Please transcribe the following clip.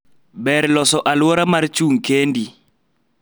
ber loso aluora mar chung kendi